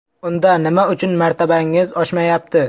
Unda nima uchun martabangiz oshmayapti?